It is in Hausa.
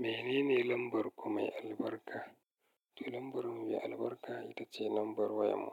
Menene lambar ku mai albarka? To lambar mu mai albarka ita ce lambar wayar mu,